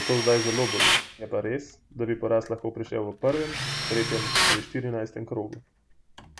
zato zdaj zelo boli, je pa res, da bi poraz lahko prišel v prvem, tretjem ali štirinajstem krogu.